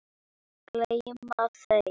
Gleyma þeim.